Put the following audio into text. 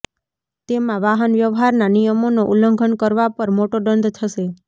તેમાં વાહન વ્યવહારના નિયમોનો ઉલ્લંઘન કરવા પર મોટો દંડ થશે